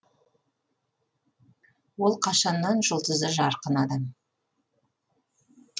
ол қашаннан жұлдызы жарқын адам